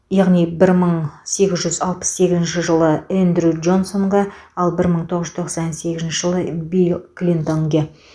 яғни бір мың сегіз жүз алпыс сегізінші жылы эндрю джонсонга ал бір мың тоғыз жүз тоқсан сегізінші жылы билл клинтонге